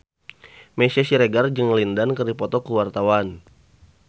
Meisya Siregar jeung Lin Dan keur dipoto ku wartawan